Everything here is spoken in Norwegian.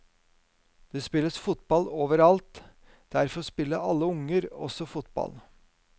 Det spilles fotball overalt, derfor spiller alle unger også fotball.